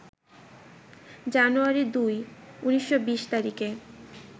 জানুয়ারি ২, ১৯২০ তারিখের